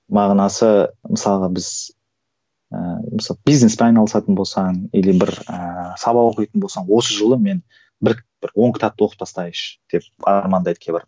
мағынасы мысалға біз ііі бизнеспен айналысатын болсаң или бір ііі сабақ оқитын болсаң осы жылы мен бір бір он кітапты оқып тастайыншы деп армандайды кейбір